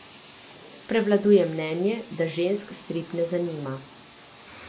Prevladuje mnenje, da žensk strip ne zanima.